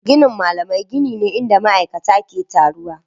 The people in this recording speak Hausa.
Ginin malamai gini ne inda ma'aikata ke taruwa.